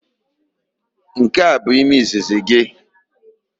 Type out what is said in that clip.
Nke a abụ ime izizi gị?